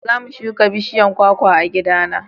za mu shuka bishiyan kwakwa a gida na